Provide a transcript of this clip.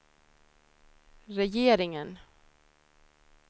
regeringen